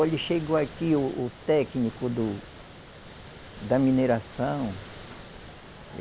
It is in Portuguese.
Olhe, chegou aqui o o técnico do, da mineração.